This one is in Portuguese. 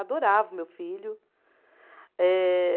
Adorava o meu filho. Eh